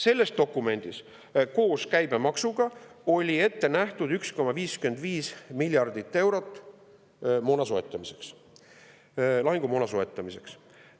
Selles dokumendis oli koos käibemaksuga ette nähtud 1,55 miljardit eurot moona soetamiseks, lahingumoona soetamiseks.